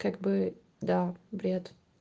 как бы да бред